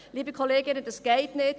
Liebe Kolleginnen, das geht nicht!